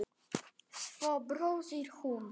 Svo brosir hún.